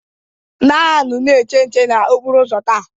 Ndị agha nọ na-eche nche n'okporo ụzọ taa.